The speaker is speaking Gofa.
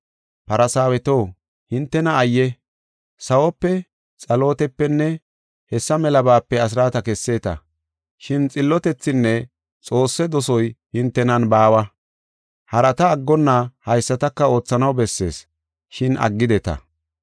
“Farsaaweto hintena ayye! Sawope, xalootepenne hessa melabaape asraata kesseeta. Shin xillotethinne Xoosse dosoy hintenan baawa. Harata aggonna haysataka oothanaw bessees, shin aggideta.